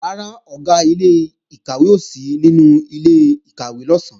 Rárá, Ọ̀gá ilé-ìkàwé ò sí nínú ilé-ìkàwé lọ̀sán